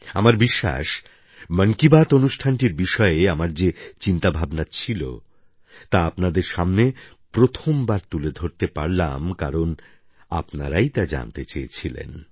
আমার বিশ্বাস মন কি বাত অনুষ্ঠানটির বিষয়ে আমার যে চিন্তাভাবনা ছিল তা আপনাদের সামনে প্রথমবার তুলে ধরতে পারলাম কারণ আপনারাই তা জানতে চেয়েছিলেন